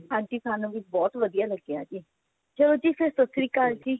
ਹਾਂਜੀ ਸਾਨੂੰ ਵੀ ਬਹੁਤ ਵਧੀਆ ਲੱਗਿਆ ਜੀ ਚਲੋ ਜੀ ਫੇਰ ਤੁਸੀਂ ਕੱਲ ਜੀ